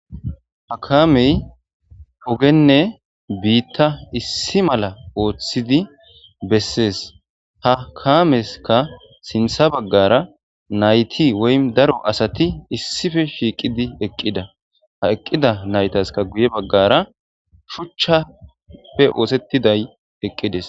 Ha kaamey hogenne biitta issi mala ooththidi bessees. ha kaameskka sintha baggara nayti woy daro asati issippe shiiqidi eqqida ha eqqida naytaska guye baggara shuchchappe oosettiday eqqides.